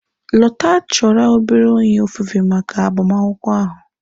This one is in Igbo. Lota chọrọ obere onye ofufe maka agbamakwụkwọ ahụ.